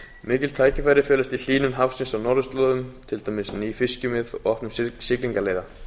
mikil tækifæri felast í hlýnun hafsins á norðurslóðum til dæmis ný fiskimið og opnun siglingaleiða